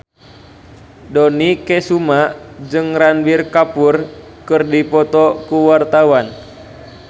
Dony Kesuma jeung Ranbir Kapoor keur dipoto ku wartawan